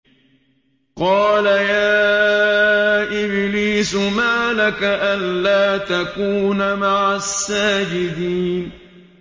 قَالَ يَا إِبْلِيسُ مَا لَكَ أَلَّا تَكُونَ مَعَ السَّاجِدِينَ